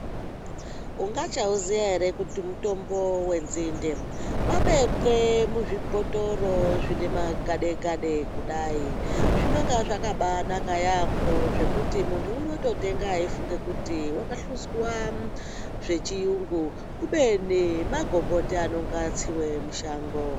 Ungachauziya here kuti mutombo wenzinde wabekwe muzvibhotoro zvinemagade-gade kudai. Zvinonga zvakabaanaka yaambo zvekuti muntu unototenga eifunge kuti wakahluzwa zvechiyungu kubeni magomboti anenge atsiwe mushango.